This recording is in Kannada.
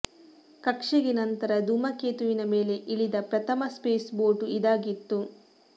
ಕಕ್ಷೆಗೆ ನಂತರ ಧೂಮಕೇತುವಿನ ಮೇಲೆ ಇಳಿದ ಪ್ರಥಮ ಸ್ಪೇಸ್ ಬೋಟ್ ಇದಾಗಿತ್ತು